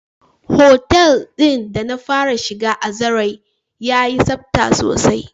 Otel din da na fara shiga a zarai ya yi tsafta sosai.